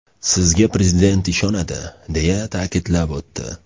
Sizga Prezident ishonadi”, deya ta’kidlab o‘tdi.